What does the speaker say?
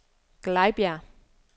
Glejbjerg